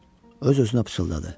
Öz-özünə pıçıldadı.